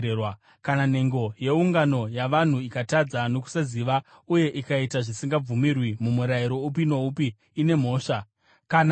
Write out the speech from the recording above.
“ ‘Kana nhengo yeungano yavanhu ikatadza nokusaziva uye ikaita zvisingabvumirwi mumurayiro upi noupi waJehovha, ine mhosva.